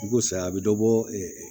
I ko saya a bɛ dɔ bɔ